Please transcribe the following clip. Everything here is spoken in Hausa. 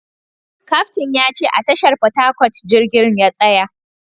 Kaftin ya ce a tashar Port Harcourt jirgin ya tsaya